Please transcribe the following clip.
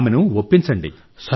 ఆమెను ఒప్పించండి